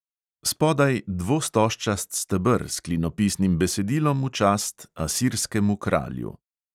Spodaj dvostožčast steber s klinopisnim besedilom v čast asirskemu kralju.